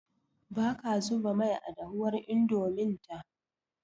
Baka zuba mai a dahuwar Indomin ta